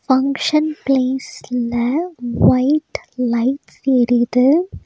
Function ப்லேஸ்ல white lights எரியுது.